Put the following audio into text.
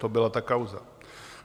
To byla ta kauza.